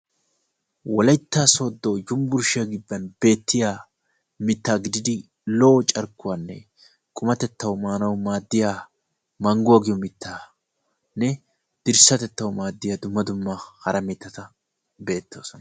Wolaytta soodo yunbburshiyaa giddon beettiya mitaa gididi lo'o carkkuwaanne qumatettawu maanawu maadiya manguwa giyo mitaane dirsatettawu maadiya hara mitata beettosona.